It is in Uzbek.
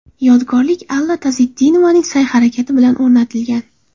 Yodgorlik Alla Tazetdinovaning sa’y-harakati bilan o‘rnatilgan.